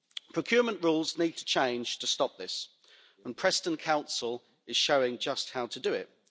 Procurement rules need to change to stop this, and Preston Council is showing just how to do it.